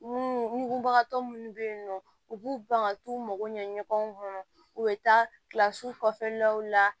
Munbagatɔ munnu bɛ ye nɔ u b'u ban ka t'u mago ɲɛ ɲɔgɔn kɔnɔ u bɛ taa kilasi kɔfɛlaw la